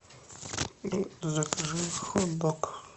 закажи хот дог